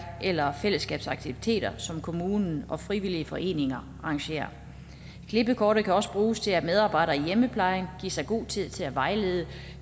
eller fællesskabsaktiviteter som kommunen og frivillige foreninger arrangerer klippekortet kan også bruges til at medarbejdere i hjemmeplejen giver sig god tid til at vejlede